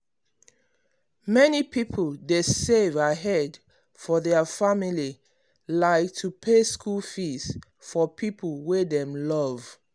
many people dey save ahead for their family like to pay school fees for people wey dem love.